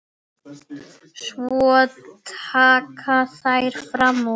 Svo taka þær fram úr.